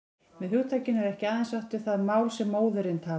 Með hugtakinu er ekki aðeins átt við það mál sem móðirin talar.